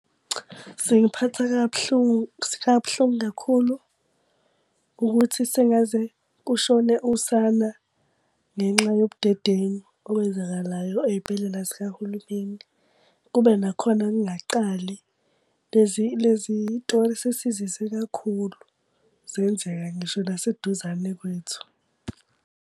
Singiphatha kabuhlungu kabuhlungu kakhulu, ukuthi sengaze kushone usana ngenxa yobudedengu okwenzakalayo ey'bhedlela zikahulumeni. Kube nakhona kungaqali lezi lezi tori sesizizwe kakhulu. Zenzeka ngisho naseduzane kwethu